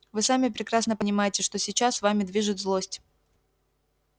вы сами прекрасно понимаете что сейчас вами движет злость